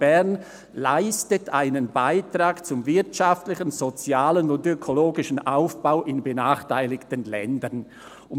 Bern] leistet einen Beitrag zum wirtschaftlichen, sozialen und ökologischen Aufbau in benachteiligten Ländern [